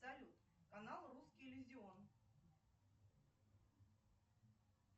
салют канал русский иллюзион